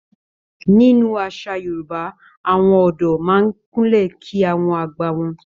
Nínú àṣà Yorùbá, àwọn ọ̀dọ́ máa ń Kúnlẹ̀ kí àwọn àgbà wọn.